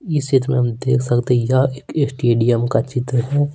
इस क्षेत्र में हम देख सकते हैं यह एक स्टेडियम का चित्र है।